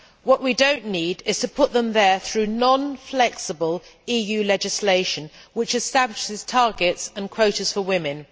What we do not need is to put them there through non flexible EU legislation which establishes targets and quotas for women.